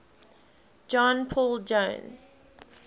john paul jones